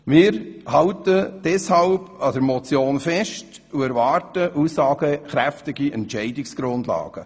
Wir halten deshalb an der Motion fest und erwarten aussagekräftige Entscheidungsgrundlagen.